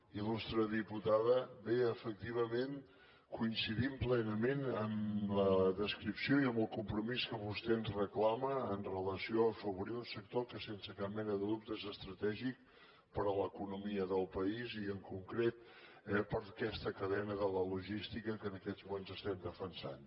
il·lustre diputada bé efectivament coincidim plenament en la descripció i en el compromís que vostè ens reclama amb relació a afavorir un sector que sense cap mena de dubte és estratègic per a l’economia del país i en concret eh per a aquesta cadena de la logística que en aquests moments estem defensant